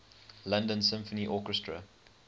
london symphony orchestra